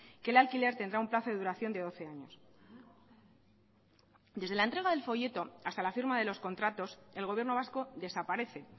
que el alquiler tendrá un plazo de duración de doce años desde la entrega del folleto hasta la firma de los contratos el gobierno vasco desaparece